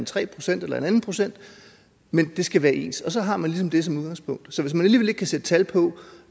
tre procent eller en anden procent men det skal være ens og så har man ligesom det som udgangspunkt så hvis man alligevel ikke kan sætte tal på